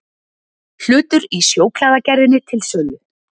Hlutur í Sjóklæðagerðinni til sölu